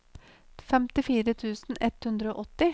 femtifire tusen ett hundre og åtti